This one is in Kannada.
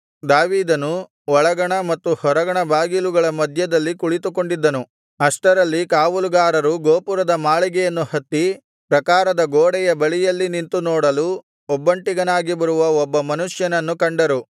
ದಾವೀದನು ಒಳಗಣ ಮತ್ತು ಹೊರಗಣ ಬಾಗಿಲುಗಳ ಮಧ್ಯದಲ್ಲಿ ಕುಳಿತುಕೊಂಡಿದ್ದನು ಅಷ್ಟರಲ್ಲಿ ಕಾವಲುಗಾರರು ಗೋಪುರದ ಮಾಳಿಗೆಯನ್ನು ಹತ್ತಿ ಪ್ರಾಕಾರದ ಗೋಡೆಯ ಬಳಿಯಲ್ಲಿ ನಿಂತು ನೋಡಲು ಒಬ್ಬಂಟಿಗನಾಗಿ ಬರುವ ಒಬ್ಬ ಮನುಷ್ಯನನ್ನು ಕಂಡರು